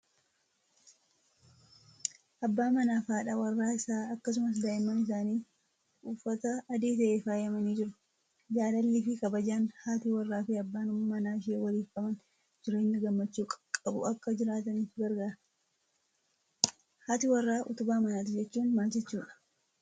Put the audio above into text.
Abbaa manaa fi haadha warraa isaa akkasumas daa'imman isaanii. Uffata adii ta'een faayamanii jiru. Jaalallii fi kabajaan haati warraa fi abbaan manaa ishee waliif qaban jireenya gammachuu qabu akka jiraataniif gargaara. Haati warraa utubaa manaati jechuun maal jechuudha?